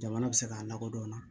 Jamana bɛ se k'a lakodɔn